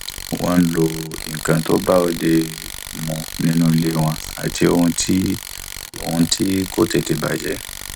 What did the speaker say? wọn ń lo nǹkan tó bá òde mu nínú ilé wọn àti ohun tí ohun tí kò tètè bàjẹ